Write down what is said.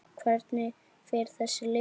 Hvernig fer þessi leikur?